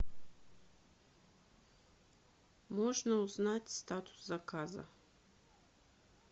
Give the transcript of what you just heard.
можно узнать статус заказа